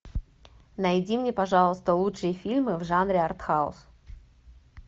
найди мне пожалуйста лучшие фильмы в жанре арт хаус